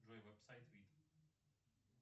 джой веб сайт вид